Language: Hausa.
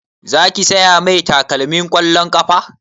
Za ki saya mai takalmin ƙwallon ƙafa?